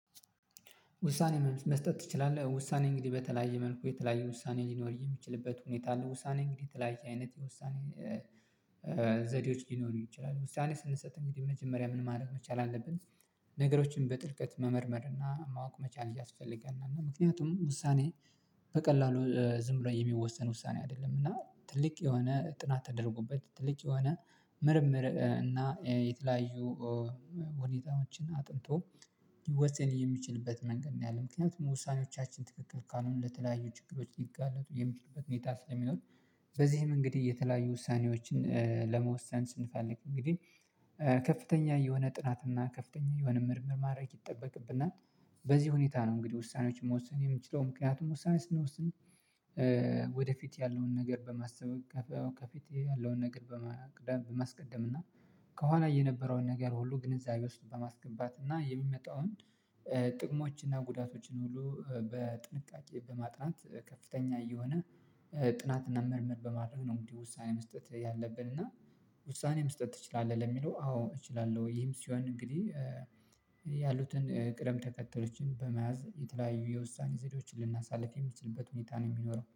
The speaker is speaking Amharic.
ውሳኔ መስጠት ትችላለህ ውሳኔ እንግዲህ በተለያየ መልኩ የተለያየ ውሳኔ ሊኖር የሚችልበት ሁኔታ አለ ውሳኔ እንግዲህ የተለያየ አይነት የውሳኔ ዘዴዎች ሊኖሩ ይችላሉ ውሳኔ ስንሰጥ እንግዲህ መጀመሪያ ምን ማድረግ መቻል አለብን ነገሮችን በጥልቀት መመርመር እና ማወቅ መቻል ያስፈልጋል እና ምክንያቱም ውሳኔ በቀላሉ ዝም ብሎ የሚወሰን ውሳኔ አይደለም እና ትልቅ የሆነ ጥናት ተደርጎበት ትልቅ የሆነ ምርምር እና የተለያዩ ሁኔታዎችን አጥንቶ ይወሰን የሚችልበት መንገድ ነው ያለው ምክንያቱም ውሳኔዎቻችን ትክክል ካልሆነ ለተለያዩ ችግሮች ሊጋለጡ የሚችሉበትን ሁኔታ ስለሚኖር በዚህ እንግዲህ የተለያዩ ውሳኔዎችን ለመወሰን ስንፈልግ እንግዲህ ከፍተኛ የሆነ ጥናትና ከፍተኛ የሆነ ምርምር ማድረግ ይጠበቅብናል በዚህ ሁኔታ ነው እንግዲህ ውሳኔዎችን መወሰን የምንችለው፣ ምክንያቱም ውሳኔ ስንወስን ስንት ወደፊት ያለውን ነገር በማሰብ ከፊት ያለውን ነገር በማስቀደም እና ከኋላ የነበረውን ነገር ሁሉ ግንዛቤ ውስጥ በማስገባት እና የሚመጣውን ጥቅሞች እና ጉዳቶችን ሁሉ በጥንቃቄ በማጥናት ከፍተኛ እየሆነ ጥናት እና ምርምር በማድረግ ነው እንግዲህ ውሳኔ መስጠት ያለብን እና ውሳኔ መስጠት ትችላለህ ለሚለው። አዎ፣ እችላለሁ ይህም ሲሆን እንግዲህ ያሉትን ቅደም ተከተሎችን በመያዝ የተለያዩ የውሳኔ ዘዴዎችን ልናሳልፍ የምትችልበት ሁኔታ ነው የሚኖረው